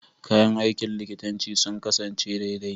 Kayan aikin likitanci sun kasance daidai.